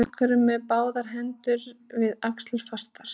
Einhverjum eru báðar hendur við axlir fastar